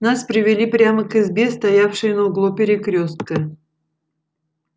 нас привели прямо к избе стоявшей на углу перекрёстка